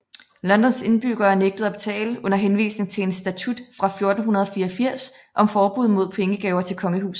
Londons indbyggere nægtede at betale under henvisning til en statut fra 1484 om forbud mod pengegaver til kongehuset